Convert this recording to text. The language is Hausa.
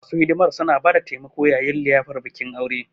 Masu hidimar suna ba da taimako yayin liyafar bikin aure.